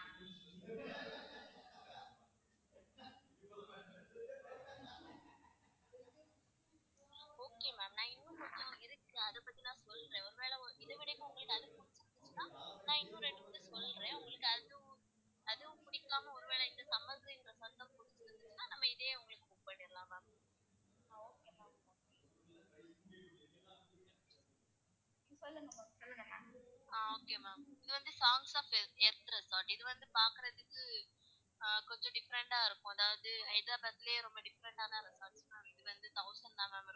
ஆஹ் okay ma'am இது வந்து இது வந்து பாக்குறதுக்கு, கொஞ்சம் different டா இருக்கும் அதாவது ஹைதராபாத்லையே ரொம்ப different டான resort ma'am தாம் ma'am இருக்கும்.